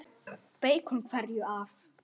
Af hverju beikon?